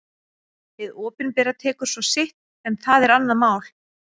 Hið opinbera tekur svo sitt en það er annað mál.